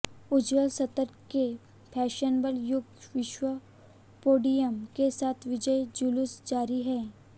उज्ज्वल सत्तर के फैशनेबल युग विश्व पोडियम के साथ विजयी जुलूस जारी है